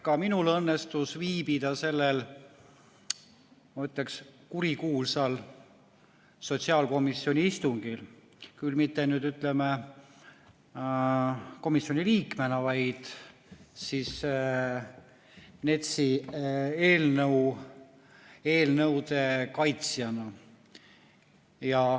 Ka minul õnnestus viibida sellel, ma ütleks kurikuulsal sotsiaalkomisjoni istungil, küll mitte komisjoni liikmena, vaid NETS‑i eelnõude kaitsjana.